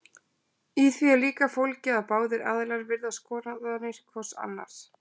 Í því er líka fólgið að báðir aðilar virða skoðanir hvors annars.